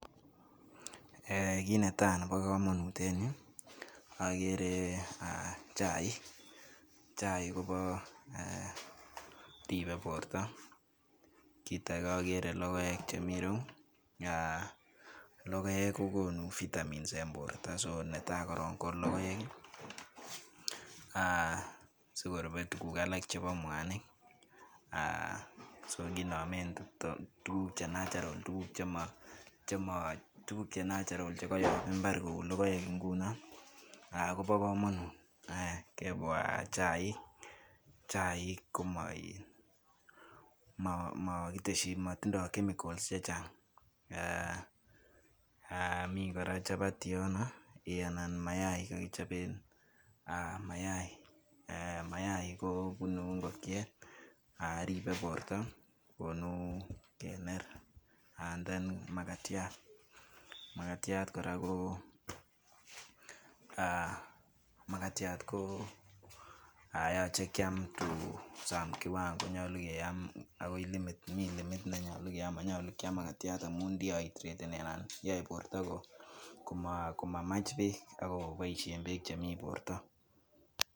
Kit netai Nebo kamanut en Yu ko chaik koribe borta akakere logoek Chemiten irou ako logoek kokonu vitamins en borta netai koron ko logoek sikorube tuguk alak chebo mwanik sokinamen so kiname tuguk Che Cs natural Cs akoba kamanut ako chaik koraa Koba kamanut amun matinye chemicals chechang akomiten chapati anan ko mayayat ako mayayat kobunu ingokiet kokonu kener ako komiten koraa mayayat ako yache Kiam en kiwango nekaran akoyae borta komamache bek anan kotar bek borta